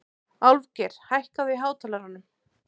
Álfgeir, hækkaðu í hátalaranum.